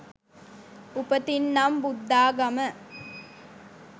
උපතින් නම් බුද්ධාගම